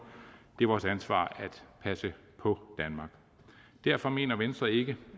det er vores ansvar at passe på danmark derfor mener venstre ikke